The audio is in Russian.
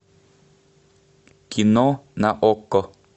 кино на окко